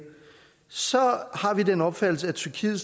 så har vi den opfattelse at tyrkiet